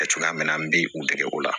Cogoya min na an bɛ u dege o la